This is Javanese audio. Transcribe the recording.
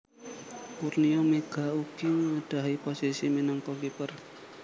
Kurnia Meiga ugi nggadhahi posisi minangka kiper